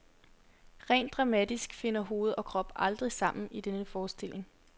Rent dramatisk finder hoved og krop aldrig sammen i denne forestilling.